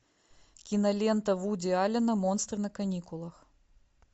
кинолента вуди аллена монстры на каникулах